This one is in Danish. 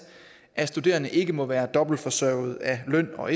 at studerende ikke må være dobbelt forsørget af løn og